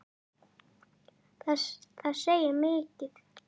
Það segir mikið.